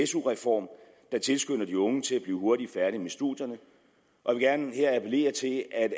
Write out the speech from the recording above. su reform der tilskynder de unge til at blive hurtigt færdig med studierne og jeg vil gerne her appellere til at